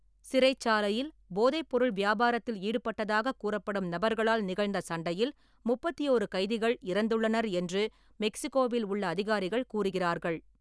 சிறைச்சாலையில் போதைப்பொருள் வியாபாரத்தில் ஈடுபட்டதாகக் கூறப்படும் நபர்களால் நிகழ்ந்த சண்டையில் முப்பத்தி ஓரு கைதிகள் இறந்துள்ளனர் என்று மெக்சிகோவில் உள்ள அதிகாரிகள் கூறுகிறார்கள்.